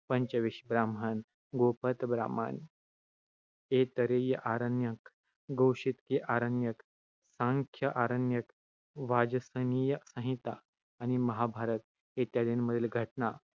पंचविश ब्राह्मण, गोपथ ब्राह्मण, ऐतरेय आरण्यक, कौशीतकी आरण्यक, सांख्य आरण्यक, वाजसनेयी संहिता आणि महाभारत, इत्यादींमधील घटना